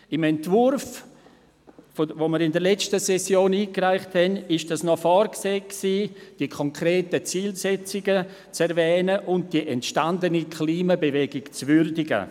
Im Entwurf, den wir in der letzten Session einreichten, war noch vorgesehen, die konkreten Zielsetzungen zu erwähnen und die entstandene Klimabewegung zu würdigen.